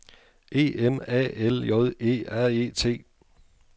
E M A L J E R E T